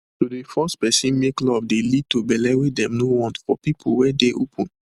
to de force person make love de lead to belle wey them no want for people were dey open